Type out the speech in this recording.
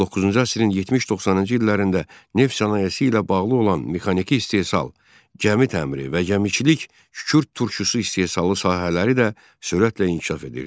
19-cu əsrin 70-90-cı illərində neft sənayesi ilə bağlı olan mexaniki istehsal, gəmi təmiri və gəmiçilik, kükürd turşusu istehsalı sahələri də sürətlə inkişaf edirdi.